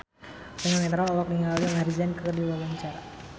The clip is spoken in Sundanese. Eno Netral olohok ningali Maher Zein keur diwawancara